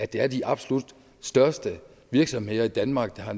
det er de absolut største virksomheder i danmark der har